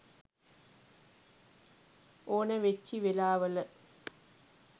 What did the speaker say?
ඕනැ වෙච්චි වෙලාවල